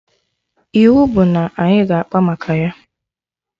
Iwu bụ na anyị ga akpa maka ya!